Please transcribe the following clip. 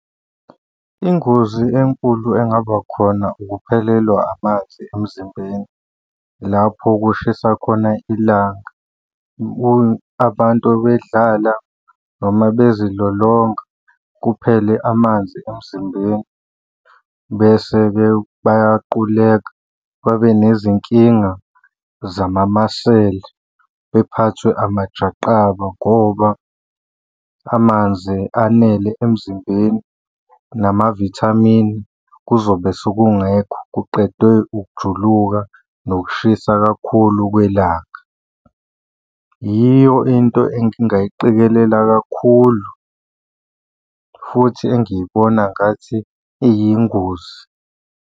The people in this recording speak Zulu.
Ingozi enkulu engaba khona ukuphelelwa amanzi emzimbeni lapho kushisa khona ilanga. Abantu bedlala noma bezilolonga kuphele amanzi emzimbeni, bese-ke bayaquleka, babe nezinkinga zamamasela baphathwe amajaqamba ngoba amanzi anele emzimbeni, namavithamini kuzobe sekungekho kuqedwe ukujuluka nokushisa kakhulu kwelanga. Yiyo into engingayiqikelela kakhulu futhi engiyibona ngathi iyingozi.